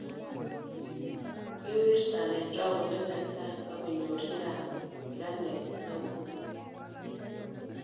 Kiwirtan en roundit netai akonyor nyikanet neeoh